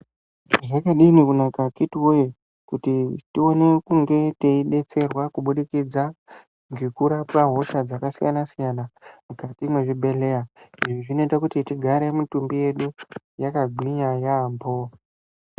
Zvakadini kunaka akiti woye kuti tiwane kunge teidetserwa kubudikidza ngekurapwe hosha dzakasiyana siyana mukati mwezvibhedhleya izvi zvinoite kuti tigare mutumbi yedu yakagwinya yaampo.